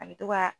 A bɛ to ka